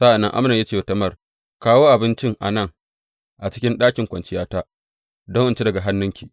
Sa’an nan Amnon ya ce wa Tamar, Kawo abincin a nan a cikin ɗakin kwanciyata, don in ci daga hannunki.